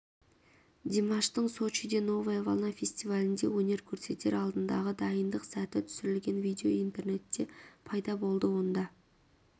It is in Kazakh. димаштың сочиде новая волна фестивалінде өнер көрсетер алдындағы дайындық сәті түсірілген видео интернетте пайда болды онда